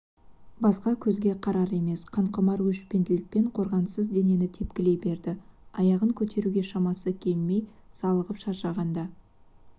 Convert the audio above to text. басқа көзге қарар емес қанқұмар өшпенділікпен қорғансыз денен тепкілей берді аяғын көтеруге шамасы келмей салығып шаршағанда